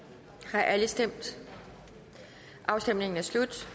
har alle stemt afstemningen er slut